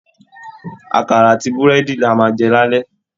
Àkàrà àti búrẹ́dì ni a máa jẹ lálẹ́